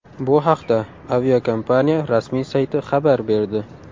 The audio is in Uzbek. Bu haqda aviakompaniya rasmiy sayti xabar berdi .